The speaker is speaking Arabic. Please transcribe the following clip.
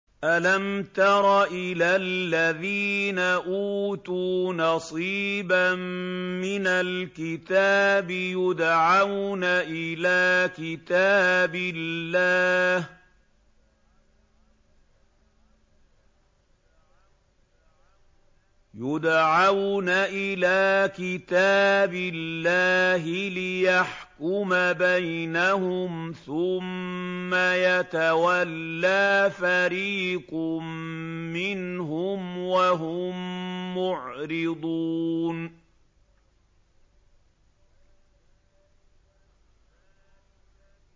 أَلَمْ تَرَ إِلَى الَّذِينَ أُوتُوا نَصِيبًا مِّنَ الْكِتَابِ يُدْعَوْنَ إِلَىٰ كِتَابِ اللَّهِ لِيَحْكُمَ بَيْنَهُمْ ثُمَّ يَتَوَلَّىٰ فَرِيقٌ مِّنْهُمْ وَهُم مُّعْرِضُونَ